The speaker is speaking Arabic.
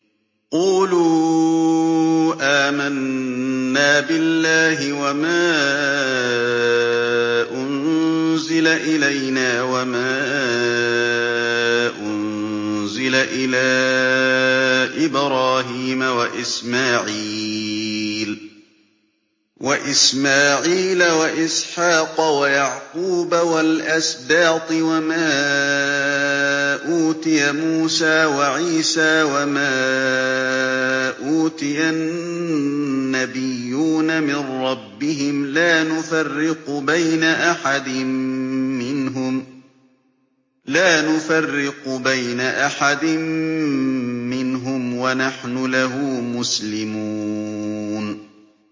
قُولُوا آمَنَّا بِاللَّهِ وَمَا أُنزِلَ إِلَيْنَا وَمَا أُنزِلَ إِلَىٰ إِبْرَاهِيمَ وَإِسْمَاعِيلَ وَإِسْحَاقَ وَيَعْقُوبَ وَالْأَسْبَاطِ وَمَا أُوتِيَ مُوسَىٰ وَعِيسَىٰ وَمَا أُوتِيَ النَّبِيُّونَ مِن رَّبِّهِمْ لَا نُفَرِّقُ بَيْنَ أَحَدٍ مِّنْهُمْ وَنَحْنُ لَهُ مُسْلِمُونَ